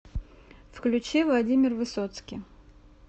включи владимир высоцкий